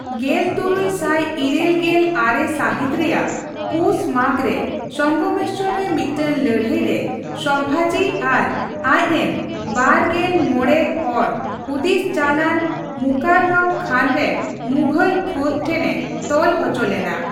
ᱜᱮᱞᱛᱩᱨᱩᱭ ᱥᱟᱭ ᱤᱨᱟᱹᱞ ᱜᱮᱞ ᱟᱨᱮ ᱥᱟᱹᱦᱤᱛ ᱨᱮᱭᱟᱜ ᱯᱩᱥᱼᱢᱟᱜᱷ ᱨᱮ ᱥᱚᱝᱜᱚᱢᱮᱥᱥᱚᱨ ᱨᱮ ᱢᱤᱫᱴᱮᱱ ᱞᱟᱹᱲᱦᱟᱹᱭ ᱨᱮ ᱥᱚᱢᱵᱷᱟᱡᱤ ᱟᱨ ᱟᱡᱽᱨᱮᱱ ᱒᱕ ᱦᱚᱲ ᱦᱩᱫᱤᱥ ᱪᱟᱞᱼᱟᱱ ᱢᱩᱠᱟᱨᱨᱚᱵᱽ ᱠᱷᱟᱱ ᱨᱮᱱ ᱢᱩᱜᱷᱚᱞ ᱯᱷᱟᱹᱫ ᱴᱷᱮᱱᱮ ᱛᱚᱞ ᱦᱚᱪᱚ ᱞᱮᱱᱟ ᱾